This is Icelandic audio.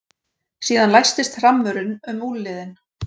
Síðan læstist hrammurinn um úlnliðinn.